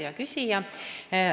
Hea küsija!